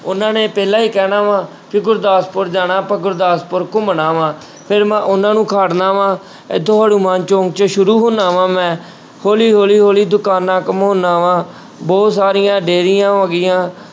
ਉਹਨਾਂ ਨੇ ਪਹਿਲਾਂ ਹੀ ਕਹਿਣਾ ਵਾਂ ਵੀ ਗੁਰਦਾਸਪੁਰ ਜਾਣਾ ਆਪਾਂ ਗੁਰਦਾਸਪੁਰ ਘੁੰਮਣਾ ਵਾਂ ਫਿਰ ਮੈਂ ਉਹਨਾਂ ਨੂੰ ਵਾਂ ਇੱਥੋਂ ਹਨੂੰਮਾਨ ਚੌਂਕ 'ਚ ਸ਼ੁਰੂ ਹੁਨਾ ਵਾਂ ਮੈਂ ਹੌਲੀ ਹੌਲੀ ਹੌਲੀ ਦੁਕਾਨਾ ਘੁਮਾਉਂਦਾ ਵਾਂ ਬਹੁਤ ਸਾਰੀਆਂ ਡੇਅਰੀਆਂ ਹੋ ਗਈਆਂ,